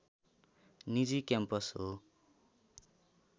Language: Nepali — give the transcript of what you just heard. निजी क्याम्पस हो